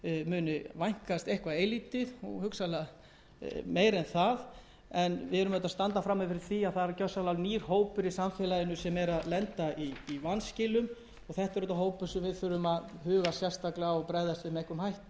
muni vænkast eitthvað eilítið og hugsanlega meira en það en við stöndum frammi fyrir því að gjörsamlega nýr hópur í samfélaginu er að lenda í vanskilum og það er hópur sem við þurfum að huga sérstaklega að